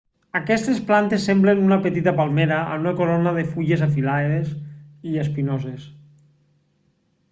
aquestes plantes semblen una petita palmera amb una corona de fulles afilades i espinoses